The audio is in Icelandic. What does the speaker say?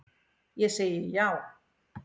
Ég segi já.